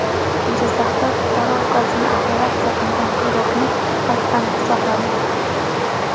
Jizzaxda fuqaro ukasini operatsiya qilgan xirurgni qasddan pichoqladi.